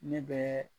Ne bɛ